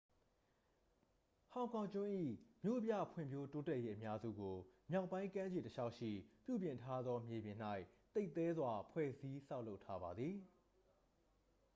ဟောင်ကောင်ကျွန်း၏မြို့ပြဖွံ့ဖြိုးတိုးတက်ရေးအများစုကို မြောက်ပိုင်းကမ်းခြေတစ်လျှောက်ရှိ ပြုပြင်ထားသောမြေပေါ်၌ သိပ်သည်းစွာ ဖွဲ့စည်းဆောက်လုပ်ထားပါသည်